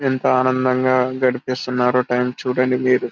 ఎంత ఆనందంగా గడిపేస్తున్నారు టైం చూడండి వీళ్ళు